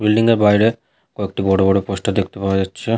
Building -এর বাইরে কয়েকটি বড় বড় পোস্টার দেখতে পাওয়া যাচ্ছে।